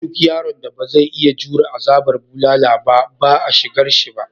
Duk yaron da ba zai iya jure azabar bulala ba ba a shigarshi ba.